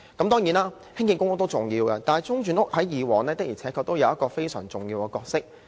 當然，興建公屋也重要，但中轉房屋過往確實擔當非常重要的角色。